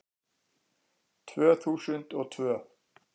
Tvö þúsund og tvö